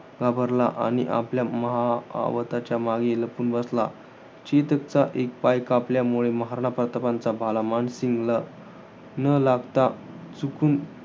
घाबरला आणि आपल्या महाआवताच्या मागे लपून बसला. चेतकचा एक पाय कापल्यामुळे महाराणा प्रतापांचा भाला मानसिंगला न लागता चुकून